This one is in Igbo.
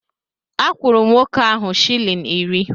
Akwụrụ m nwoke ahụ shịlin iri